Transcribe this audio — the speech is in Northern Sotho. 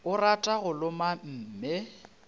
o rata go loma mme